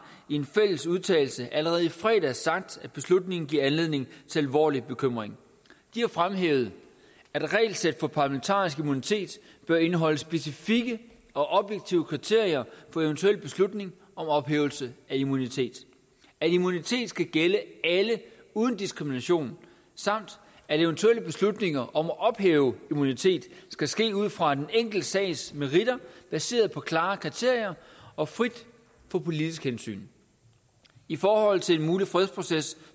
i en fælles udtalelse allerede i fredags sagt at beslutningen giver anledning til alvorlig bekymring de har fremhævet at regelsæt for parlamentarisk immunitet bør indeholde specifikke og objektive kriterier for eventuel beslutning om ophævelse af immunitet at immunitet skal gælde alle uden diskrimination samt at eventuelle beslutninger om at ophæve immunitet skal ske ud fra den enkelte sags meritter baseret på klare kriterier og fri for politiske hensyn i forhold til en mulig fredsproces